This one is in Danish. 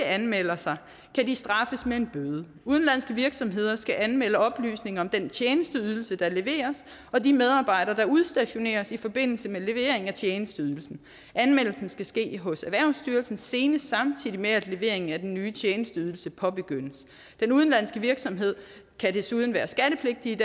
anmelder sig kan de straffes med en bøde udenlandske virksomheder skal anmelde oplysninger om den tjenesteydelse der leveres og de medarbejdere der udstationeres i forbindelse med leveringen af tjenesteydelsen anmeldelsen skal ske hos erhvervsstyrelsen senest samtidig med at leveringen af den ny tjenesteydelse påbegyndes den udenlandske virksomhed kan desuden være skattepligtigt